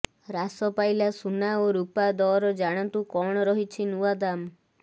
ହ୍ରାସ ପାଇଲା ସୁନା ଓ ରୁପା ଦର ଜାଣନ୍ତୁ କଣ ରହିଛି ନୂଆ ଦାମ୍